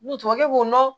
N'u tubabukɛ b'o dɔn